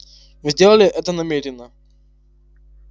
вы сделали это намеренно